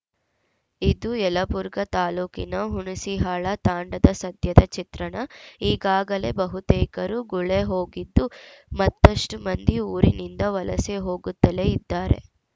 ಇದು ಯಲಬುರ್ಗಾ ತಾಲೂಕಿನ ಹುಣಸಿಹಾಳ ತಾಂಡಾದ ಸದ್ಯದ ಚಿತ್ರಣ ಈಗಾಗಲೇ ಬಹುತೇಕರು ಗುಳೆ ಹೋಗಿದ್ದು ಮತ್ತಷ್ಟುಮಂದಿ ಊರಿನಿಂದ ವಲಸೆ ಹೋಗುತ್ತಲೇ ಇದ್ದಾರೆ